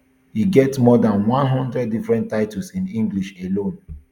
e get more dan one hundred different titles in english alone